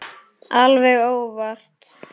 Alveg óvart!